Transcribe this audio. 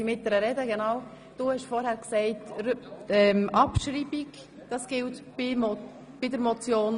Bleibt der Antrag auf Abschreibung bestehen?